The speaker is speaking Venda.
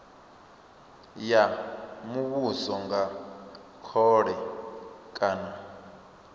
ya muvhuso nga khole kana